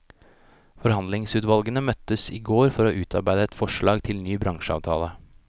Forhandlingsutvalgene møttes i går for å utarbeide et forslag til ny bransjeavtale.